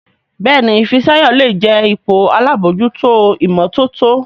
Béèni Fisayo lẹ jé ipò àlabòjuto imototo.